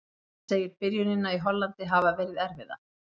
Hann segir byrjunina í Hollandi hafa verið erfiða.